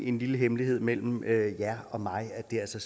en lille hemmelighed mellem jer og mig at det altså